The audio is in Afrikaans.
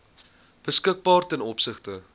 beskikbaar ten opsigte